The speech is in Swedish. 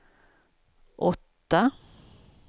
åtta